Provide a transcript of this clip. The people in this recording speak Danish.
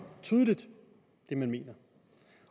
tydeligt hvad man mener